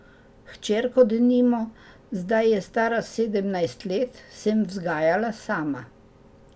Hčerko, denimo, zdaj je stara sedemnajst let, sem vzgajala sama.